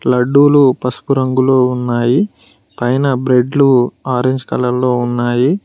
లడ్డులు పసుపు రంగులో ఉన్నాయి పైన బ్రేడ్లు ఆరంజ్ కలర్ లో ఉన్నాయి.